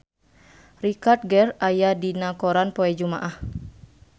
Richard Gere aya dina koran poe Jumaah